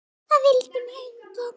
Það vildi mig enginn!